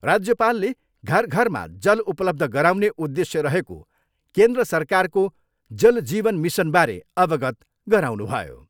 राज्यपालले घर घरमा जल उपलब्ध गराउने उदेश्य रहेको केन्द्र सरकारको जल जीवन मिसनबारे अवगत गराउनुभयो।